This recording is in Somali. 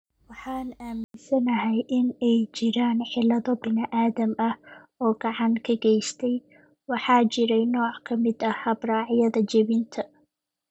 Waxaan aaminsanahay inay jiraan cillado bini'aadam ah oo gacan ka geystay, waxaa jiray nooc ka mid ah habraacyada jebinta."